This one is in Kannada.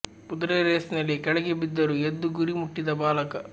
ಕುದುರೆ ರೇಸ್ ನಲ್ಲಿ ಕೆಳಗೆ ಬಿದ್ದರೂ ಎದ್ದು ಗುರಿ ಮುಟ್ಟಿದ ಬಾಲಕ